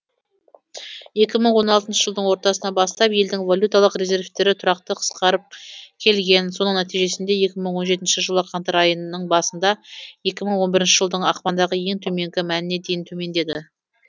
екі мың он алтыншы жылдың ортасынан бастап елдің валюталық резервтері тұрақты қысқарып келген соның нәтижесінде екі мың он жетінші жылғы қаңтар айының басында екі мың он бірінші жылдың ақпандағы ең төменгі мәніне дейін төмендеді